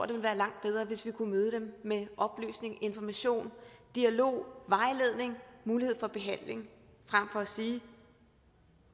ville være langt bedre hvis vi kunne møde dem med oplysning information dialog vejledning og mulighed for behandling frem for at sige